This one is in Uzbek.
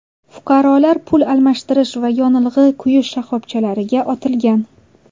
Fuqarolar pul almashtirish va yonilg‘i quyish shoxobchalariga otilgan.